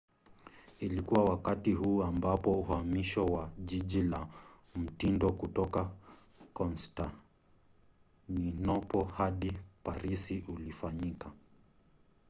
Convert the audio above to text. ilikuwa wakati huu ambapo uhamisho wa jiji la mtindo kutoka konstantinopo hadi parisi ulifanyika